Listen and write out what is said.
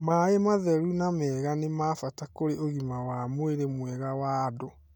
Maĩ matheru na mega nĩ ma bata kũrĩ ũgima wa mwĩrĩ mwega wa andũ.